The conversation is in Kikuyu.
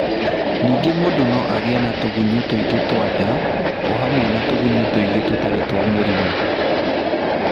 Ningĩ mũndũ no agĩe na tũgunyũ tũingĩ twa nda o hamwe na tũgunyũ tũngĩ tũtarĩ twa mũrimũ.